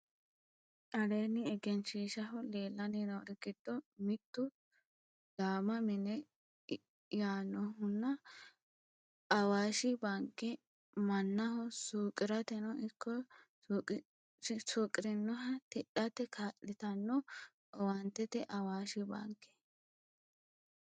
Aleeni egenshishaho leelani noori giddo mittu daama mine yaanohunna awaashi baanke manaho suuqirateno ikko suuqirinohano tidhate kaalitano owaanteeti awaashi baanke.